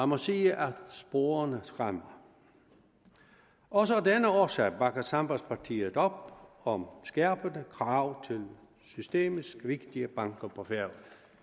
må sige at sporene skræmmer også af denne årsag bakker sambandspartiet op om om skærpede krav til systemets vigtige banker på færøerne